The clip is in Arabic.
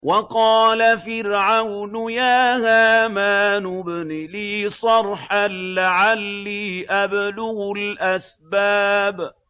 وَقَالَ فِرْعَوْنُ يَا هَامَانُ ابْنِ لِي صَرْحًا لَّعَلِّي أَبْلُغُ الْأَسْبَابَ